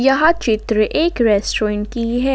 यह चित्र एक रेस्टोरेंट की है।